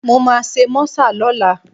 Mo máa ṣe mọ́sà lọ́la